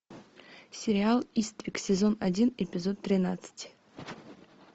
сериал иствик сезон один эпизод тринадцать